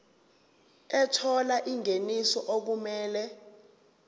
ethola ingeniso okumele